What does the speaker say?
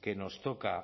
que nos toca